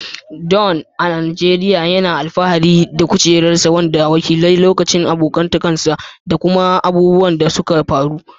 Dan, a Najeriya, yana alfahari da rigar ƙuruciyarsa, wanda ke wakiltar lokacin abokantaka da kuma abubuwan da suka faru.